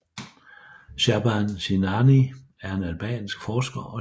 Shaban Sinani er en albansk forsker og journalist